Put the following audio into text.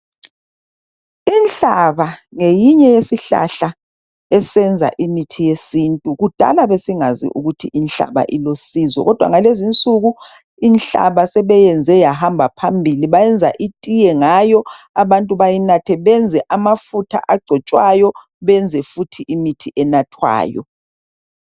Inhlaba ngeyinye yesihlahla esiyenza imithi yesintu kudala besingazi ukuthi inhlaba ilusizo kodwa ngalezinsuku inhlaba sebeyenze yahamba phambili bayenza itiye ngayo abantu bayinathe benze amafutha agcotshwayo benze futhi imithi enathwayo